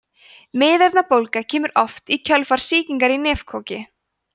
miðeyrnabólga kemur oft í kjölfar sýkingar í nefkoki